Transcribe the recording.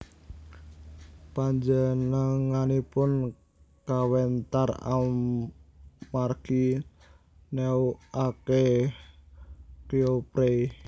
Panjenenganipun kawentar amargi neukake Kouprey